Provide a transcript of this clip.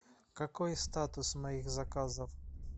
какой статус моих заказов